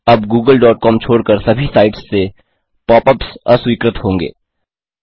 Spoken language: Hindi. अब googleकॉम छोड़कर सभी साइट्स से पॉप अप्स अस्वीकृत होंगे